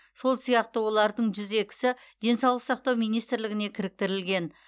сол сияқты олардың жүз екісі денсаулық сақтау министрлігіне кіріктірілген